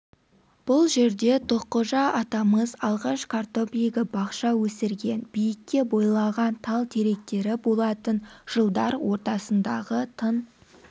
бұл жерде тоққожа атамыз алғаш картоп егіп бақша өсірген биікке бойлаған тал-теректері болатын жылдар ортасындағы тың